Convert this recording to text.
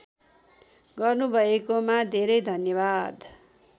गर्नुभएकोमा धेरै धन्यवाद